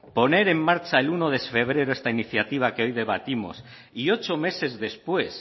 poner en marcha el uno de febrero esta iniciativa que hoy debatimos y ocho meses después